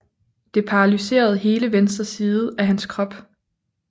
Det paralyserede hele venstre side af hans krop